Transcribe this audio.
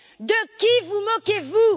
De qui vous moquez vous?